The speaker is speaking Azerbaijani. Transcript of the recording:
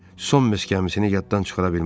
Son mesk gəmisini yaddan çıxara bilmərəm.